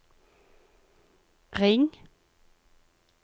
ring